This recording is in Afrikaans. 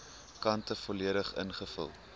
kante volledig ingevul